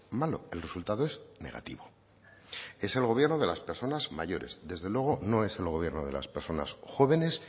malo el resultado es negativo es el gobierno de las personas mayores desde luego no es el gobierno de las personas jóvenes